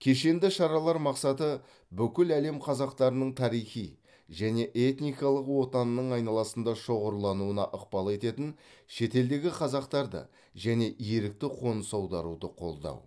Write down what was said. кешенді шаралар мақсаты бүкіл әлем қазақтарының тарихи және этникалық отанының айналасында шоғырлануына ықпал ететін шетелдегі қазақтарды және ерікті қоныс аударуды қолдау